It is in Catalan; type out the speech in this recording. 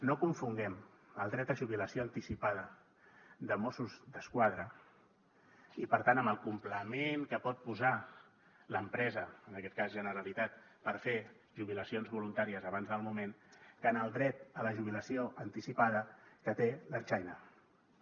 no confonguem el dret a jubilació anticipada de mossos d’esquadra i per tant amb el complement que pot posar l’empresa en aquest cas generalitat per fer jubilacions voluntàries abans del moment amb el dret a la jubilació anticipada que té l’ertzaintza